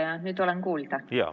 Kas nüüd olen kuulda?